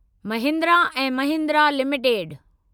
महिंद्रा ऐं महिंद्रा लिमिटेड